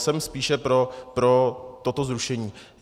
Jsem spíše pro toto zrušení.